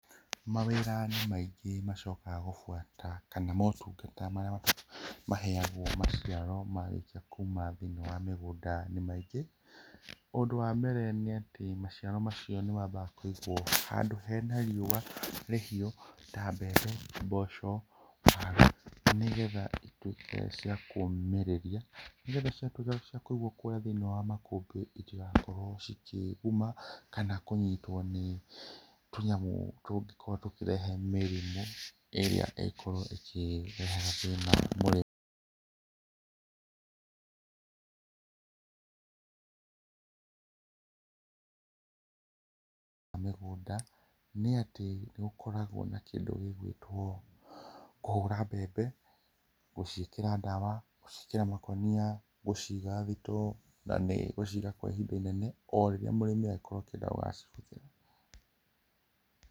Mawĩĩra nĩmaingĩ macookaga gũbuata kana mootungata marĩa maheagwo maciaro marĩkia kuuma thĩinĩ wa mĩgũnda nĩ maingĩ, ũndũ wa mbere nĩatĩ maciaro macio nĩmambaga kũigwo handũ hena riũa rĩhiũ ta mbembe, mboco nĩgetha cituĩke cia kũũmĩrĩria nĩgetha cĩatuĩka cia kũigwo kũrĩa thĩinĩ wa makũmbĩ ,itigakorwo cikĩguma kana kũnyitwo nĩ tũnyamũ tũngĩkorwo tũkĩrehe mĩrimũ ĩrĩa ĩngĩkorwo ĩkĩreherea thĩĩna mũrĩmi wa mĩgũnda nĩatĩ nĩgũkoragwo na kĩndũ gĩgwĩtwo kũhũũra mbembe, gũciĩkĩra ndawa, gũciĩkĩra makonia, gũciiga thitoo, na nĩgũciiga kwa ihinda inene o rĩrĩa mũrĩmi agagikorwo akĩenda gũgacihũthĩra.